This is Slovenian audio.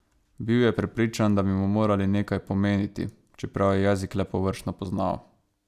Bil je prepričan, da bi mu morali nekaj pomeniti, čeprav je jezik le površno poznal.